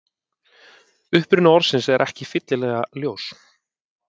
Uppruni orðsins er ekki fyllilega ljós.